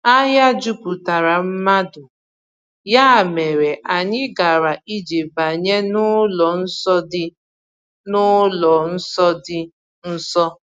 Ahịa juputara mmadụ, ya mere anyị gara ije banye n’ụlọ nsọ dị n’ụlọ nsọ dị nso.